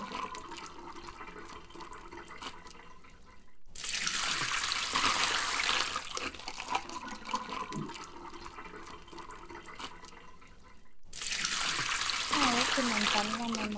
actual ஆ வந்து cake வந்து பாத்தீங்கனா evening தா ஆனா morning அப்றம் வந்து afternoon அப்றம் night இந்த மூனு time ம் பாத்தீங்கனா food order பண்ணோம் breakfast lunch and dinner இது மூனுமே.